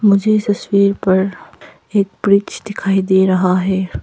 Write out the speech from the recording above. मुझे पर एक ब्रिज दिखाई दे रहा है।